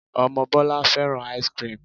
Ọmọ Bọlá fẹ́ràn ice-cream